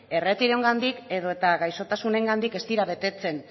erretiroengandik edota gaixotasunengatik ez dira betetzen